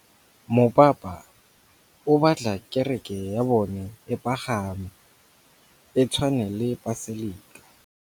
Mopapa o batla kereke ya bone e pagame, e tshwane le paselika.